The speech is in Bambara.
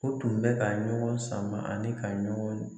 O tun bɛ ka ɲɔgɔn sama ani ka ɲɔgɔn